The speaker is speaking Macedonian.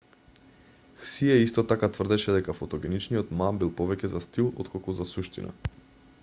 хсие исто така тврдеше дека фотогеничниот ма бил повеќе за стил отколку за суштина